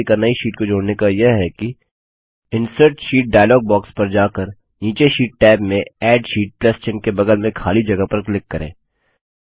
आखिरी तरीका नई शीट को जोड़ने का यह है कि इंसर्ट शीट डायलॉग बॉक्स पर जाकर नीचे शीट टैब में एड शीट प्लस चिन्ह के बगल में खाली जगह पर क्लिक करें